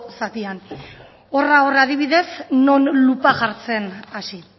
zatian horra hor adibidez non lupa jartzen hasi